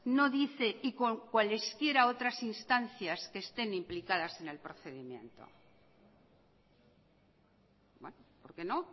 no dice y con cuales quiera otras instancias que estén implicadas en el procedimiento por qué no